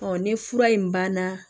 ni fura in banna